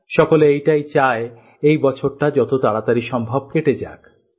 সকলে এটাই চায় এই বছরটা যত তাড়াতাড়ি সম্ভব কেটে যাক